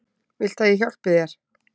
Viltu að ég hjálpi þér?